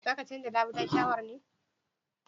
Zaka canja labulen shawar ne?\